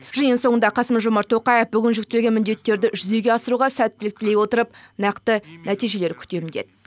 жиын соңында қасым жомарт тоқаев бүгін жүктелген міндеттерді жүзеге асыруға сәттілік тілей отырып нақты нәтижелер күтемін деді